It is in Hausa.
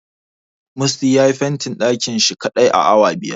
Musty yayi fentin ɗakin shi kaɗai a awa biyar.